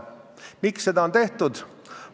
Miks seda on tehtud?